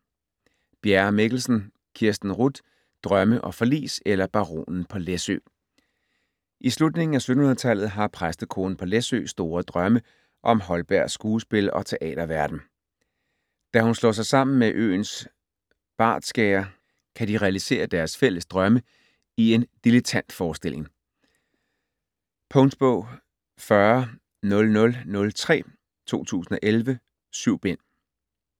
Bjerre Mikkelsen, Kirsten Ruth: Drømme og forlis eller Baronen på Læsø I slutningen af 1700-tallet har præstekonen på Læsø store drømme om Holbergs skuespil og teaterverdenen. Da hun slår sig sammen med øens bartskærer kan de realisere deres fælles drømme i en dilettantforestilling. Punktbog 400003 2011. 7 bind.